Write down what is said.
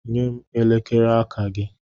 Nye m elekere aka gị.